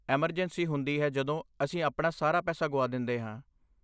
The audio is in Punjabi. ਐਮਰਜੈਂਸੀ ਹੁੰਦੀ ਹੈ ਜਦੋਂ ਅਸੀਂ ਆਪਣਾ ਸਾਰਾ ਪੈਸਾ ਗੁਆ ਦਿੰਦੇ ਹਾਂ।